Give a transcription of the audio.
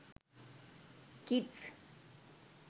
kids